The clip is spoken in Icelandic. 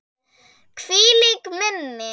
Hvílíkt minni!